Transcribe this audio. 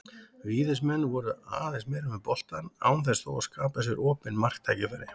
Víðismenn voru aðeins meira með boltann án þess þó að skapa sér opin marktækifæri.